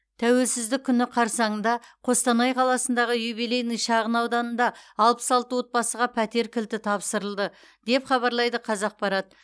тәуелсіздік күні қарсаңында қостанай қаласындағы юбилейный шағын ауданында алпыс алты отбасыға пәтер кілті тапсырылды деп хабарлайды қазақпарат